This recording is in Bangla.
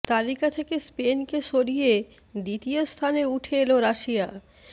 তালিকা থেকে স্পেনকে সরিয়ে দ্বিতীয় স্থানে উঠে এল রাশিয়া